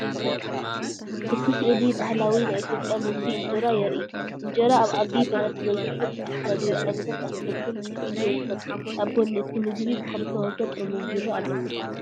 እቲ ስእሊ ባህላዊ ናይ ኢትዮጵያ ምግቢ እንጀራ የርኢ። እንጀራ ኣብ ዓቢ ብረት ተዘርጊሑ ብዝተፈላለዩ ዓይነታት ኣሕምልትን ተሸፊኑ ይርከብ። ኣብ ጎኒ እቲ ምግቢ ብኽልተ ወገን ጥርሙዝ ቢራን ኣሎ።